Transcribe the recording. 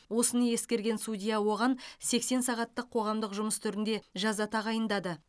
осыны ескерген судья оған сексен сағаттық қоғамдық жұмыс түрінде жаза тағайындады